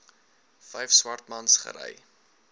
vyf swartmans gery